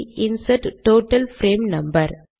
insert total frame number